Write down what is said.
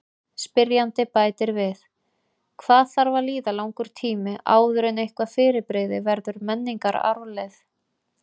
Spyrjandi bætir við: Hvað þarf að líða langur tími áður en eitthvað fyrirbrigði verður menningararfleifð?